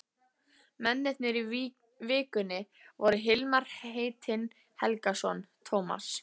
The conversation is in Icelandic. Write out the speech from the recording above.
Mennirnir í Vikunni voru Hilmar heitinn Helgason, Tómas